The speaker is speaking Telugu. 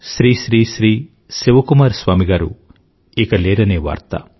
శ్రీ శ్రీ శ్రీ శివకుమార్ స్వామి గారు ఇక లేరనే వార్త